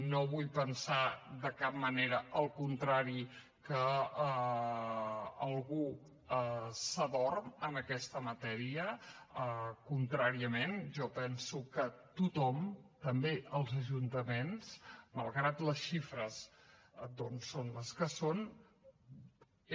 no vull pensar de cap manera el contrari que algú s’adorm en aquesta matèria contràriament jo penso que tothom també els ajuntaments malgrat les xifres doncs són les que són